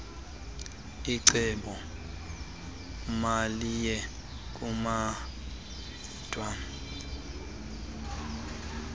icebo maliye kulandwa